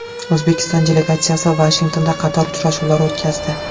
O‘zbekiston delegatsiyasi Vashingtonda qator uchrashuvlar o‘tkazdi.